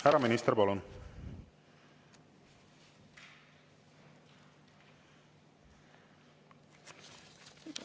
Härra minister, palun!